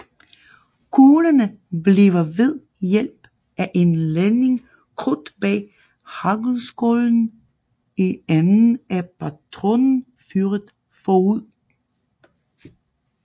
Kuglerne bliver ved hjælp af en ladning krudt bag haglskålen i enden af patronen fyret forud